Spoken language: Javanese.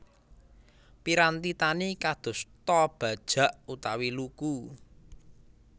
Piranti tani kadosta bajak utawi luku